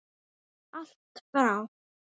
Allt frá